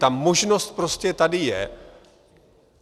Ta možnost prostě tady je.